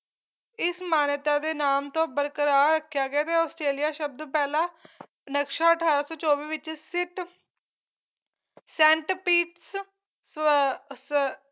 ਇਸ ਮਾਨਿਯਤਾ ਦੇ ਨਾਮ ਤੋਂ ਬਰਕਰਾਰ ਰੱਖਿਆ ਗਿਆ ਤੇ ਆਸਟ੍ਰੇਲੀਆ ਸ਼ਬਦ ਪਹਿਲਾ ਨਕਸ਼ਾ ਅਠਾਰਾਂ ਸੌ ਚੌਵੀ ਦੇ ਵਿੱਚ ਸਿਟ ਸੈਂਟ ਪਿਟਸ ਸਵੈ ਸ